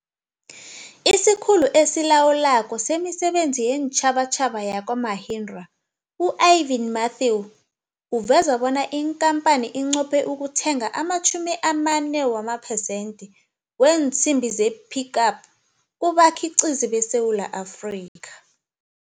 IsiKhulu esiLawulako semiSebenzi yeenTjhabatjhaba yakwa-Mahindra, u-Arvind Matthew uveza bona ikampani inqophe ukuthenga ama-40 percent wee nsimbi ze-Pik Up kubakhi qizi beSewula Afrika.